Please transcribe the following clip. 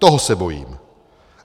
Toho se bojím.